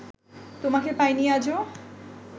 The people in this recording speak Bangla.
তোমাকে পাইনি আজো